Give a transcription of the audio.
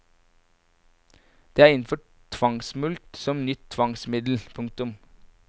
Det er innført tvangsmulkt som nytt tvangsmiddel. punktum